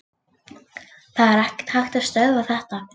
Það er ekki hægt að stöðva þetta.